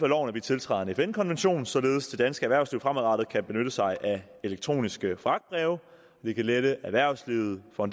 loven at vi tiltræder en fn konvention således at det danske erhvervsliv fremadrettet kan benytte sig af elektroniske fragtbreve det kan lette erhvervslivet for